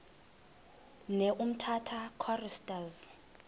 ne umtata choristers